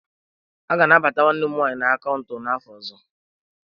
A ga-anabata nwanne m nwanyị na akaụntụ n'afọ ọzọ.